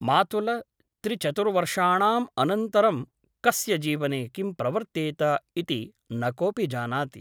मातुल त्रिचतुरवर्षाणाम् अनन्तरं कस्य जीवने किं प्रवर्तेत इति न कोऽपि जानाति ।